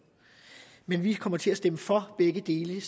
men vi kommer til at stemme for begge dele